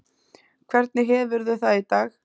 Hvernig hefurðu það í dag?